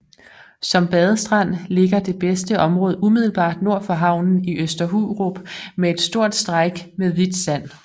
Som badestrand ligger det bedste område umiddelbart nord for havnen i Øster Hurup med et stort stræk med hvidt sand